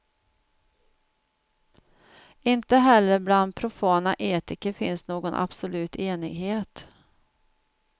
Inte heller bland profana etiker finns någon absolut enighet.